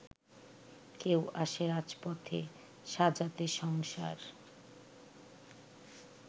কেউ আসে রাজপথে সাজাতে সংসার